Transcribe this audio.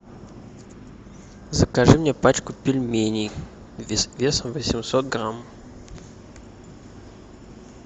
закажи мне пачку пельменей весом восемьсот грамм